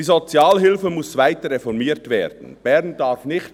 «Die Sozialhilfe muss jetzt weiter reformiert werden, Bern darf [...